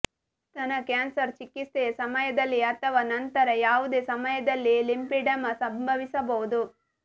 ಸ್ತನ ಕ್ಯಾನ್ಸರ್ ಚಿಕಿತ್ಸೆಯ ಸಮಯದಲ್ಲಿ ಅಥವಾ ನಂತರ ಯಾವುದೇ ಸಮಯದಲ್ಲಿ ಲಿಂಪಿಡೆಮಾ ಸಂಭವಿಸಬಹುದು